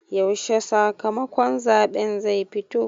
Yaushe sakamakon zaɓen zai fito?